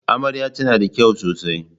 Amarya tana da kyau sosai yau.